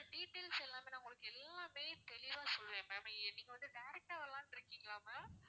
details எல்லாமே நான் உங்களுக்கு எல்லாமே தெளிவா சொல்லிடுறேன் ma'am நீங்க வந்து direct டா வரலாம்னு இருக்கீங்களா ma'am